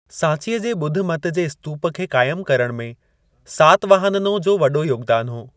सांचीअ जे ॿुध मत जे स्तूप खे क़ाइम करणु में सातवाहननो जो वॾो योगदान हो।